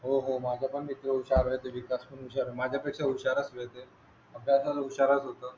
हो हो माझा पण मित्र होसियार नुसार माझ्या पेक्षा हुशार आहे ते अभ्यासा विचाराय चं होतं.